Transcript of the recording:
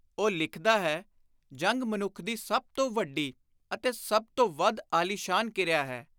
ਉਹ ਲਿਖਦਾ ਹੈ, “ਜੰਗ ਮਨੁੱਖ ਦੀ ਸਭ ਤੋਂ ਵੱਡੀ ਅਤੇ ਸਭ ਤੋਂ ਵੱਧ ਆਲੀਸ਼ਾਨ ਕਿਰਿਆ ਹੈ।